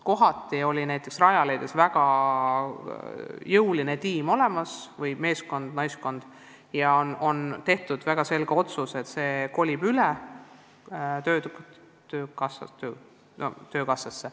Mõnel pool on Rajaleidjas olnud väga jõuline tiim ja on tehtud väga selge otsus, et see kolib üle töökassasse.